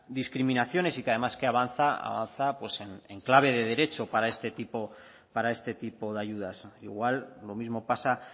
discriminaciones y que además avanza pues en clave de derecho para este tipo de ayudas igual lo mismo pasa